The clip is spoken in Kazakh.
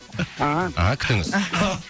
ааа ы күтіңіз